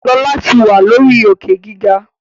Lọla tí wá lórí Òkè-gíga.